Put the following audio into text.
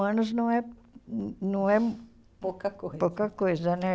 anos não é não é pouca coisa pouca coisa, né?